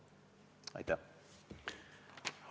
Aitäh!